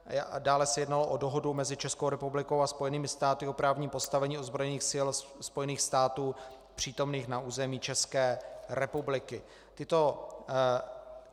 Dále se jednalo o Dohodu mezi Českou republikou a Spojenými státy o právním postavení ozbrojených sil Spojených států přítomných na území České republiky.